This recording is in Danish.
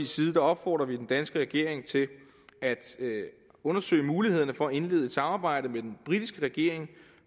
side opfordrer vi den danske regering til at undersøge mulighederne for at indlede et samarbejde med den britiske regering